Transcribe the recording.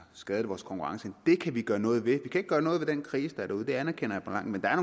skadet vores konkurrenceevne det kan vi gøre noget ved vi kan ikke gøre noget ved den krise der er derude det anerkender jeg men der er